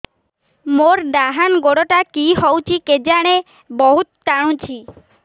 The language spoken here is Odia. ମୋର୍ ଡାହାଣ୍ ଗୋଡ଼ଟା କି ହଉଚି କେଜାଣେ ବହୁତ୍ ଟାଣୁଛି